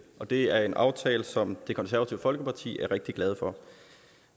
og det er en aftale som det konservative folkeparti er rigtig glad for